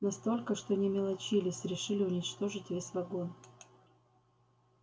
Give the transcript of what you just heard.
настолько что не мелочились решили уничтожить весь вагон